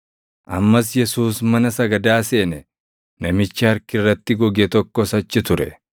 Ammas Yesuus mana sagadaa seene; namichi harki irratti goge tokkos achi ture.